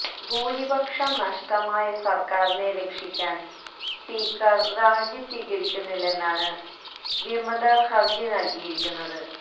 ഭൂരിപക്ഷം നഷ്ടമായ സര്ക്കാരിനെ രക്ഷിക്കാന് സ്പീക്കര് രാജി സ്വീകരിക്കുന്നില്ലെന്നാണ് വിമതര് ഹര്ജി നല്കിയിരിക്കുന്നത്